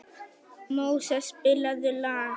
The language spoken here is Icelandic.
Móses, spilaðu lag.